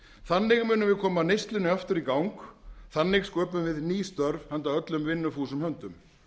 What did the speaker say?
þannig munum við koma neyslunni aftur í gang þannig sköpum við ný störf handa öllum vinnufúsum höndum